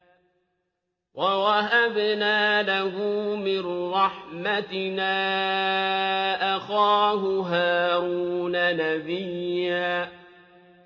وَوَهَبْنَا لَهُ مِن رَّحْمَتِنَا أَخَاهُ هَارُونَ نَبِيًّا